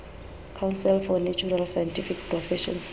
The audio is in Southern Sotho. council for natural scientific professions